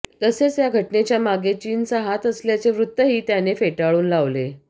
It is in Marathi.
तसेच या घटनेच्या मागे चीनचा हात असल्याचे वृत्तही त्यांनी फेटाळून लावले